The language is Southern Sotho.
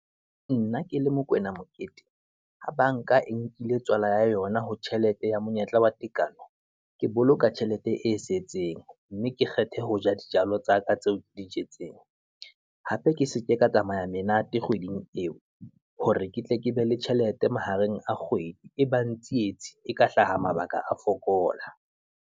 Nna ke le Mokoena Mokete, ha banka e nkile tswala ya yona ho tjhelete ya monyetla wa tekano, ke boloka tjhelete e setseng, mme ke kgethe ho ja dijalo tsa ka tseo dijetseng. Hape ke seke ka tsamaya menate kgweding eo, hore ke tle ke be le tjhelete mahareng a kgwedi. E bang tsietsi e ka hlaha mabaka a fokola.